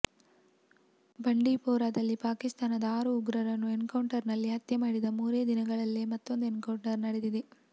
ಬಂಡಿಪೋರಾದಲ್ಲಿ ಪಾಕಿಸ್ತಾನದ ಆರು ಉಗ್ರರನ್ನು ಎನ್ಕೌಂಟರ್ನಲ್ಲಿ ಹತ್ಯೆ ಮಾಡಿದ ಮೂರೇ ದಿನಗಳಲ್ಲೆ ಮತ್ತೊಂದು ಎನ್ಕೌಂಟರ್ ನಡೆದಿದೆ